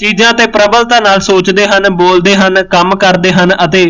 ਚੀਜ਼ਾਂ ਤੇ ਪ੍ਰਬਲਤਾ ਨਾਲ ਸੋਚਦੇ ਹਨ, ਬੋਲਦੇ ਹਨ, ਕੰਮ ਕਰਦੇ ਹਨ ਅਤੇ